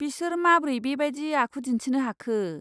बिसोर माब्रै बेबायदि आखु दिन्थिनो हाखो?